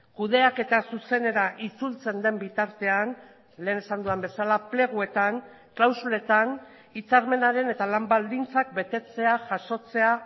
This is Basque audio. kudeaketa zuzenera itzultzen den bitartean lehen esan dudan bezala pleguetan klausuletan hitzarmenaren eta lan baldintzak betetzea jasotzea